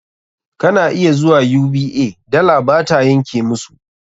Kana iya zuwa UBA, dala ba ta yanke musu.